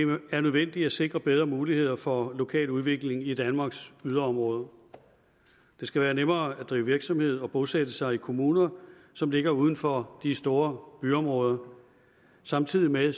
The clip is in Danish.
er nødvendigt at sikre bedre muligheder for lokal udvikling i danmarks yderområder det skal være nemmere at drive virksomhed og bosætte sig i kommuner som ligger uden for de store byområder samtidig med